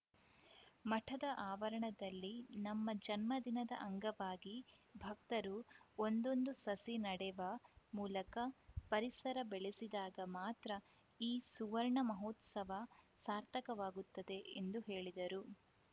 ಮಠದ ಆವರಣದಲ್ಲಿ ನಮ್ಮ ಜನ್ಮ ದಿನದ ಅಂಗವಾಗಿ ಭಕ್ತರು ಒಂದೊಂದು ಸಸಿ ನಡೆವ ಮೂಲಕ ಪರಿಸರ ಬೆಳೆಸಿದಾಗ ಮಾತ್ರ ಈ ಸುವರ್ಣ ಮಹೋತ್ಸವ ಸಾರ್ಥಕವಾಗುತ್ತದೆ ಎಂದು ಹೇಳಿದರು